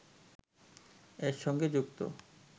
এর সঙ্গে যুক্ত